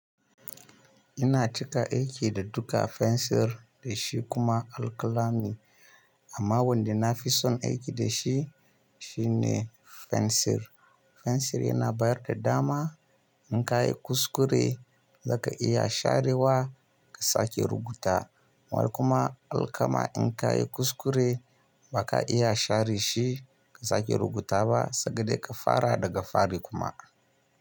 Ina cika aiki da duka fensir da shi kuma alkalami. Amma wanda nafi son aiki da shi, shi ne fensir. Fensir yana bayar da dama in ka yi kuskure zaka iya sharewa ka sake rubuta. While kuma alkalami in ka yi kuskure baka iya share shi ka sake rubuta ba sai dai ka fara daga fari kuma.